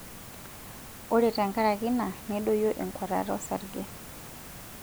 Ore tenkaraki ina, nedoyio enkuatata osarge.